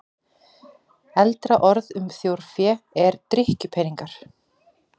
Eldra orð um þjórfé er drykkjupeningar.